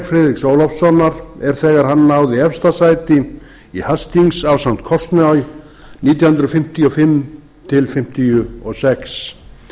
friðriks ólafssonar er þegar hann náði efsta sæti í hastings ásamt kortsnoj nítján hundruð fimmtíu og fimm til fimmtíu og sex